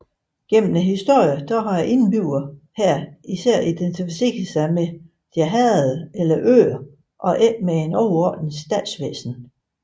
Gennem historien har indbyggerne her især identificeret sig med deres herreder eller øer og ikke med et overordnet statsvæsen